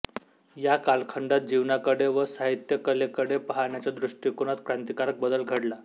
या कालखंडात जीवनाकडे व साहित्यकलेकडे पाहण्याच्या दृष्टिकोनात क्रांतिकारक बदल घडला